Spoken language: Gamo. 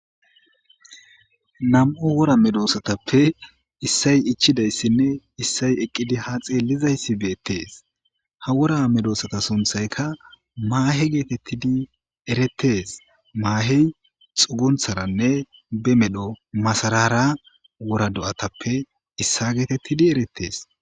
nam7o wora medoossatappe issay ichidayssinne issay eqqidi ha xeellizayssi beettees ha wora medoossata sunthayka maahe geetettidi eretes maahey xuguntharanne be medho masarara wora do7atappe issa geetettidi erettees